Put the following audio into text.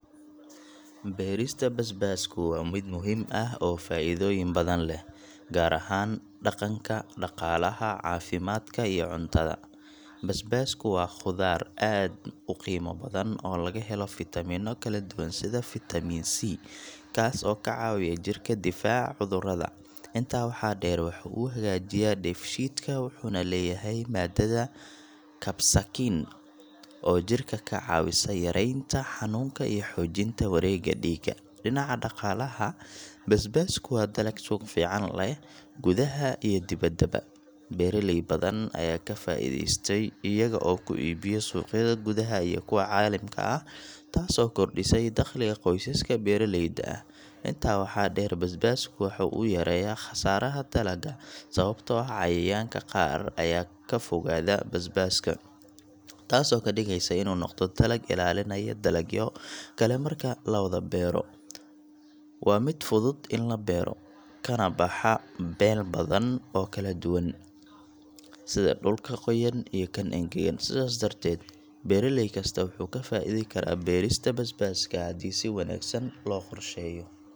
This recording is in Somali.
Beerista basbaasku waa mid muhiim ah oo faa'iidooyin badan leh, gaar ahaan dhaqanka dhaqaalaha, caafimaadka iyo cuntada. Basbaasku waa khudaar aad u qiimo badan oo laga helo fitamiinno kala duwan sida fitamiin C, kaas oo ka caawiya jirka difaaca cudurrada. Intaa waxaa dheer, waxa uu hagaajiyaa dheefshiidka wuxuuna leeyahay maadada capsaicin oo jirka ka caawisa yareynta xanuunka iyo xoojinta wareegga dhiigga. Dhinaca dhaqaalaha, basbaasku waa dalag suuq fiican leh gudaha iyo dibaddaba. Beeraley badan ayaa ka faa’iidaystay iyaga oo ku iibiya suuqyada gudaha iyo kuwa caalamiga ah, taas oo kordhisay dakhliga qoysaska beeraleyda ah. Intaa waxaa dheer, basbaasku waxa uu yareeyaa khasaaraha dalagga, sababtoo ah cayayaanka qaar ayaa ka fogaada basbaaska, taasoo ka dhigeysa inuu u noqdo dalag ilaalinaya dalagyo kale marka la wada beero. Waa mid fudud in la beero, kana baxa meelo badan oo kala duwan, sida dhulka qoyan iyo kan engegan. Sidaas darteed, beeraley kasta wuxuu ka faa'iidi karaa beerista basbaaska haddii si wanaagsan loo qorsheeyo.